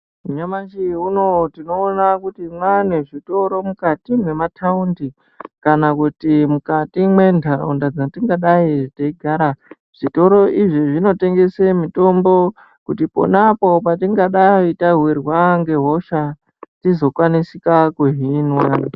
Nyamashi unoo tinoona kuti mwaanezvitoro mukati mwemataundi kana kuti mukati mwendaraunda dzatingadai teigara. Zvitoro izvi zvinotengese mitombo kuti pona apo patingadai tawirwa ngehosha, tizokwanisika kuhinwa.